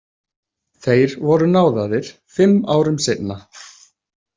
Þeir voru náðaðir fimm árum seinna.